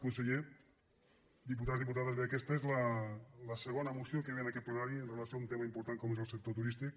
conseller diputats diputades bé aquesta és la segona moció que ve en aquest plenari amb relació a un tema important com és el sector turístic